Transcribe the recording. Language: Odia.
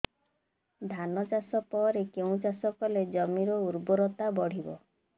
ଧାନ ଚାଷ ପରେ କେଉଁ ଚାଷ କଲେ ଜମିର ଉର୍ବରତା ବଢିବ